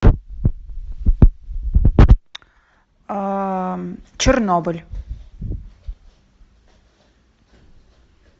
чернобыль